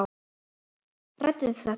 Ræddu þið þetta?